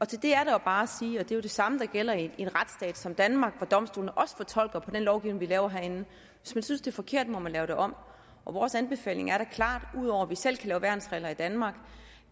til det er der jo bare at sige at det er det samme der gælder i en retsstat som danmark hvor domstolene også fortolker på den lovgivning vi laver herinde hvis man synes det er forkert må man lave det om vores anbefaling er da klart ud over at vi selv kan lave værnsregler i danmark